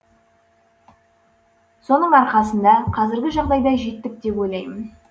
соның арқасында қазіргі жағдайға жеттік деп ойлаймын